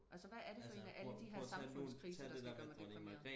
altså hvad er det for en af alle de her samfundskriser der skal gøre mig deprimeret